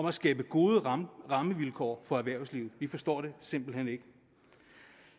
at skabe gode rammevilkår for erhvervslivet vi forstår det simpelt hen ikke